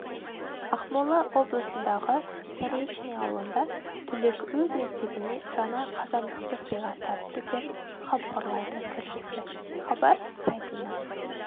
ақмола облысындағы заречный ауылында түлек өз мектебіне жаңа қазандықты сыйға тартты деп хабарлайды тілшісі хабар сайтына